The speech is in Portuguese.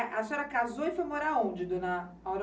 A senhora casou e foi morar onde, dona